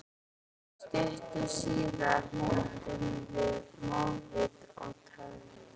Stuttu síðar hrepptum við mótvind og töfðumst.